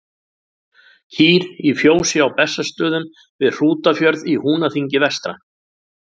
Kýr í fjósi á Bessastöðum við Hrútafjörð í Húnaþingi vestra.